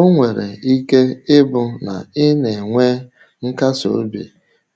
O nwere ike ịbụ na ị um na-enwe nkasi obi